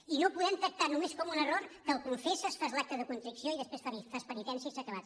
i no ho podem tractar només com un error que el confesses fas l’acte de constricció i després fas penitència i s’ha acabat